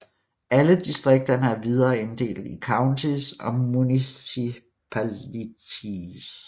Alle distrikterne er videre inddelt i counties og municipalities